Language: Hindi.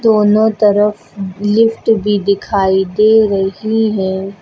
दोनों तरफ लिफ्ट भी दिखाई दे रही है।